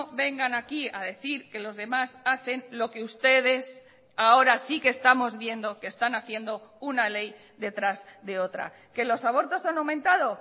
vengan aquí a decir que los demás hacen lo que ustedes ahora sí que estamos viendo que están haciendo una ley detrás de otra que los abortos han aumentado